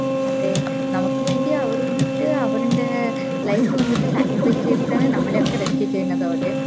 അതെ നമക് വേണ്ടി അവര് വന്നിട്ട് അവര്ൻറെ life വന്നിട്ട് sacrifice ചെയ്തിട്ടാണ് നമ്മളെ ഒക്കെ rescue ചെയ്യുന്നത് ആവട്ടെ